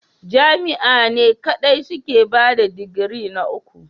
Jami'a ne kadai suke bada digiri na uku.